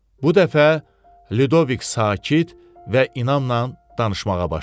Bu dəfə Lidovik sakit və inamla danışmağa başladı.